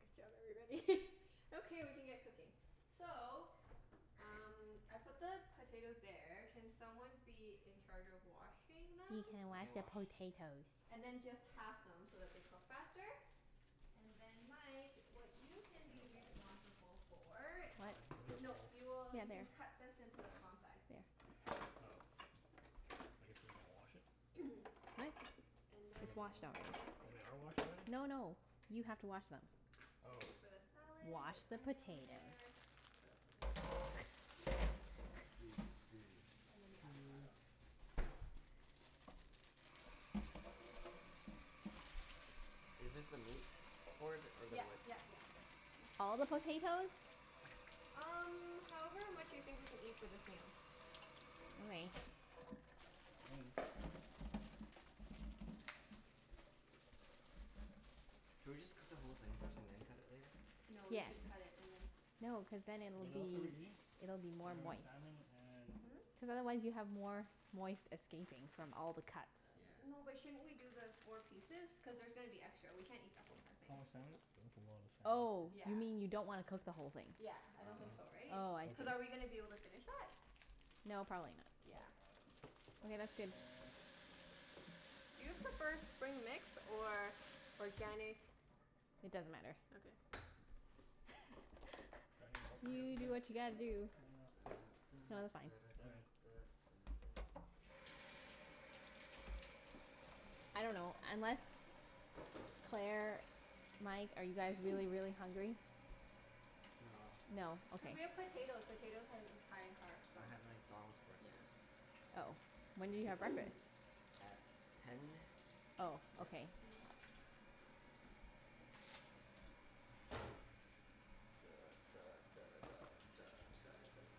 Good job everybody. Okay, we can get cooking. So um I put the potatoes there. Can someone be in charge of washing them? He can I wash can the wash. potatoes. And then just half them so that they cook faster. And then Mike, what you can Do we have be a bowl? responsible for The What? salad? Is there a No, bowl? Oh. you will, Yeah, you there. can cut this into the palm size. There. Oh. I guess we wanna wash it? Are they? What? And It's washed then already. Oh they are washed already? No no, you have to wash them. Oh. This is for the salad. Wash There's the onion over potatoes. there. What else goes in the salad? Scusi, scusi. And then the 'Scuse. avocado. Is this the meat board? Or the Yep wood? yep yep, that's a good one. All the potatoes? Um however much you think we can eat for this meal. All right. Should we just cook the whole thing first and then cut it later? No, you Yes. should cut it and then No, cuz then it'll What else are we be, eating? it'll be more We're having moist. salmon and Hmm? Cuz otherwise you have more moist escaping from all the cuts. Yeah. No but shouldn't we do the four pieces? Cuz there's gonna be extra. We can't eat the whole entire thing. How much salmon? That's a lot of Oh, salmon. you Yeah. mean you don't wanna cook the whole thing? Yeah, I Oh, don't think so oh okay. right? Oh, I see. Cuz are we going Okay. to be able to finish that? No, probably not. Yeah. Probably Okay, that's good. not. Do you prefer spring mix or organic It doesn't matter. Okay. Do I need more potatoes You than do this? what you gotta do. Da da No, they're da fine. da Okay. da da da da. I dunno, unless, Claire, Mike, are you guys really really hungry? No. No. Cuz Okay. we have potato. Potatoes has high in carbs, so. I had a McDonald's Yeah. breakfast. Oh. When did you have breakfast? At ten. Oh, Yeah. okay. Duh duh duh duh duh duh duh duh.